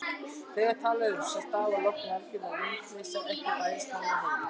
Þegar talað er um stafalogn er alger vindleysa, ekki bærist hár á höfði.